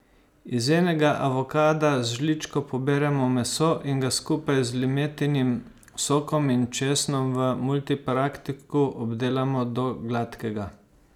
Iz enega avokada z žličko poberemo meso in ga skupaj z limetinim sokom in česnom v multipraktiku obdelamo do gladkega.